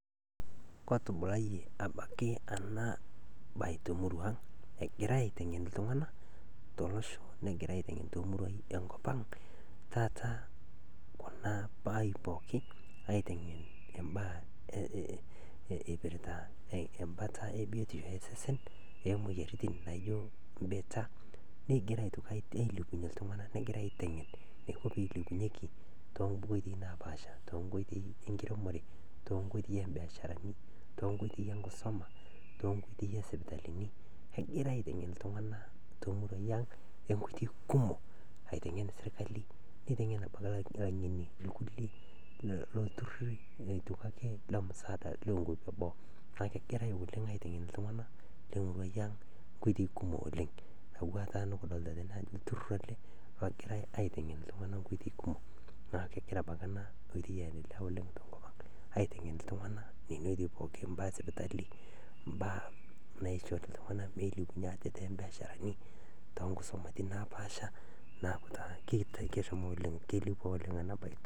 Kotubulayie abaki ana baye to murua ang' egirae aiteng'en ltung'ana to losho negirae aiteng'en too muruai e nkop ang' taata kuna baa pooki aiteng'en mbaa eipirita mbata e biotisho e sesen ee moyianitin naijo mbiita negirae aitoki ailepunye ltung'ana aiteng'en ltung'ana too nkoitei naapaasha too nkoitei e nkiremore too nkoitei ee mbiasharani too nkoitei e nkisoma too nkoitei e sipitalini egirae aiteng'en ltung'ana to muruai ang' nkoitei kumok aiteng'en sirkali neiteng'en abaki lang'eni lkule loo lturrurri loo musaadani ee nkopi e boo naaku kegirae oleng' aiteng'en ltung'ana to muruai ang' nkoitei kumok oleng' atuwuaa taata nukudolita tene ajo lturrurr ale ogirae aiteng'en ltung'ana nkoitei kumok naaku kegira abaki ana oitei aendeleyaa oleng' to nkop ang' aiteng'en ltung'ana nenia oitei pookin, mbaa e sipitali, mbaa naisho ltung'ana meilepunye aate too mbiasharani to nkusomatin naapaasha naaku taa keilepua oleng' ana baye